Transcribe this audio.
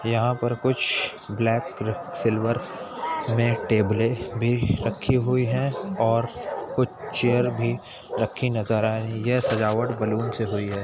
यहाँ पर कुछ ब्लैक क सिल्वर में टेबलें भी रखी हुई हैं और कुछ चेयर भी रखी नजर आ रही है यह सजावट बैलून से हुई है।